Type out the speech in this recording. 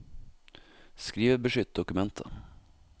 skrivebeskytt dokumentet